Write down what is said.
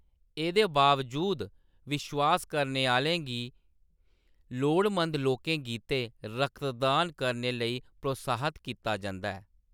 एह्‌दे बावजूद विश्वास करने आह्‌लें गी लोडमंद लोकें गितै रक्तदान करने लेई प्रोत्साहत कीता जंदा ऐ।